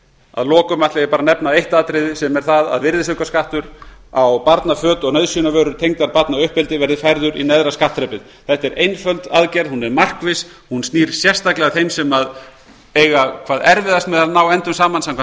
að lokum ætla ég að nefna eitt atriði sem er það að virðisaukaskattur á barnaföt og nauðsynjavörur tengdar barnauppeldi verði færður í neðra skattþrepið þetta er einföld aðgerð hún er markviss hún snýr sérstaklega að þeim sem eiga hvað erfiðast með að ná endum saman samkvæmt